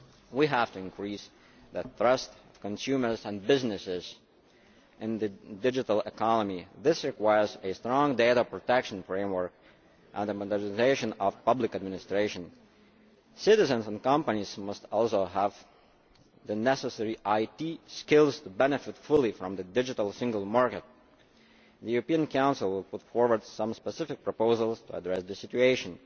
We have to increase the trust of consumers and businesses in the digital economy this requires a strong data protection framework and the modernisation of public administration. Citizens and companies must all have the necessary IT skills to benefit fully from the digital single market. The European Council will put forward some specific proposals to address the situation.